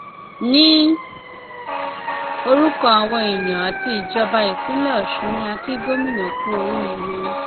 ní orúkọ àwọn èèyàn àti ìjọba ìpínlẹ ọṣun ni a kì gómìnà kú oríire